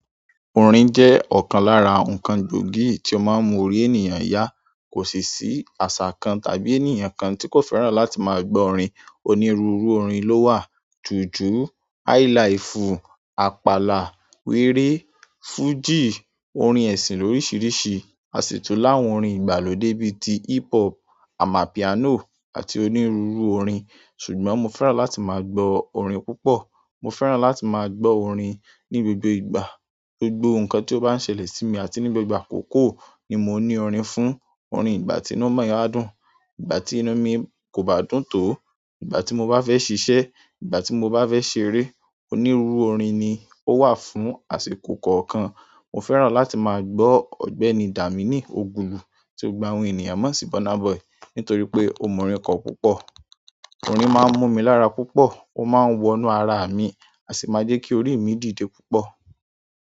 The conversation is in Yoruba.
Orin jẹ́ ọ̀kan lára nǹkan gbòógì tí ó máa ń mú orí ènìyàn yá. Kò sì ṣí àṣà kan tàbí ènìyàn kan tí kò fẹ́ràn láti máa gbọ́ orin. Onírúurú orin ló wà, jùjú, highlife, àpàlà, wéré, fújì, orin ẹ̀sìn lóríṣiríṣi, àṣitun láàwon orin ìgbàlódé bí i ti hiphop, amapiano àti onírúurú orin. Ṣùgbọ́n mo fẹ́ràn láti máa gbọ́ orin púpọ̀. Mo fẹ́ràn láti máa gbọ́ orin ní gbogbo ìgbà, gbogbo nǹkan tí ó bá ń ṣẹlẹ̀ sí mi àti ní gbogbo àkókò ni mo ní orin fún, orin ìgbà tí inú mi áadùn, ìgbà tí inú mi kò bá dùn tó, ìgbà tí mo bá fẹ́ ṣiṣẹ́, ìgbà tí mo bá fẹ́ ṣeré onírúurú orin ni ó wà fún àṣìko kọ̀ọ̀kan. Mo fẹ́ràn láti máa gbọ́ Ọ̀gbẹ́ni Dàmèènì Ogulu, tí ó gba orin ènìyàn mọ́ sí Burna Boy, nítorí pé ó mọ̀ orin kọ̀ púpọ̀. Orin máa ń mú mi lára púpọ̀, ó máa ń wọnú ara mi, a sì máa jẹ́ kí orí mi dìde púpọ̀.